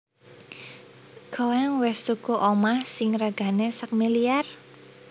Koen wes tuku omah sing regane sakmiliar?